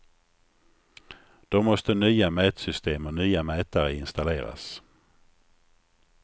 Då måste nya mätsystem och nya mätare installeras.